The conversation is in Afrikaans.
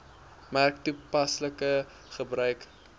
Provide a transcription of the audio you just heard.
merk toepaslike gebruik